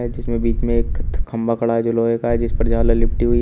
जिसमें बीच में एक ख खंभा खड़ा है जो लोहे का है जिस पर झालर लिपटी हुई --